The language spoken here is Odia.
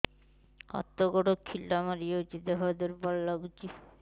ହାତ ଗୋଡ ଖିଲା ମାରିଯାଉଛି ଦେହ ଦୁର୍ବଳ ଲାଗୁଚି